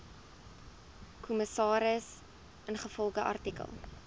kommissaris ingevolge artikel